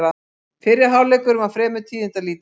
Fyrri hálfleikurinn var fremur tíðindalítill